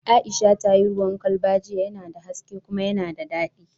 Aisha ta yi ruwan kwalba jiya, yana da haske kuma yana da daɗi